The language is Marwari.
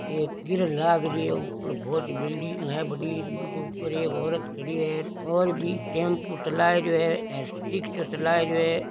एक पिलर लाग रही है ऊपर बहोत बड़ी बिल्डिंग है बड़ी बीके ऊपर ओरत खड़ी है और भी टेम्पू चला रहियो है रिक्शा चला रहियो है।